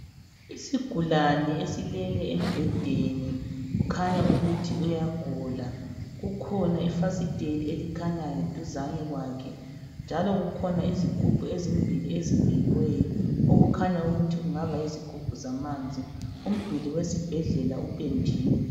Isigulane esilele embhedeni kukhanya ukuthi uyagula . Kukhona ifasiteli elikhanyayo duzani kwakhe njalo kukhona izigubhu ezimbili ezibekiweyo okukhanya ukuthi kungaba yizigubhu zamanzi. Umduli wesibhedlela upendiwe